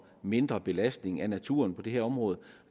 mindre belastning af naturen på det her område